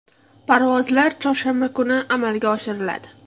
Parvozlar chorshanba kunlari amalga oshiriladi.